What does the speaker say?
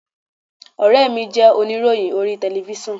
Ọ̀rẹ́ mi jẹ́ oníròyìn orí telifíṣàn.